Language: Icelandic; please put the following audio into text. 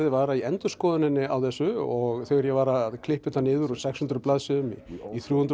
var að í endurskoðuninni á þessu og þegar ég var að klippa þetta niður úr sex hundruð blaðsíðum í þrjú hundruð